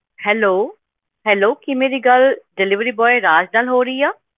Hello hello ਕੀ ਮੇਰੀ ਗੱਲ delivery boy ਰਾਜ ਨਾਲ ਹੋ ਰਹੀ ਆ?